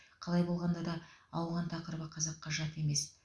қалай болғанда да ауған тақырыбы қазаққа жат емес